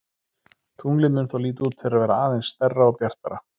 Tunglið mun þá líta út fyrir að vera aðeins stærra og bjartara.